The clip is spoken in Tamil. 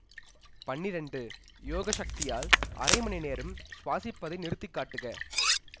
பன்னிரெண்டு யோக சக்தியால் அரை மணி நேரம் சுவாசிப்பதை நிறுத்தி காட்டுக